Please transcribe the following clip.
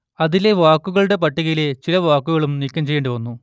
അതിലെ വാക്കുകളുടെ പട്ടികയിലെ ചില വാക്കുകളും നീക്കം ചെയ്യേണ്ടി വന്നു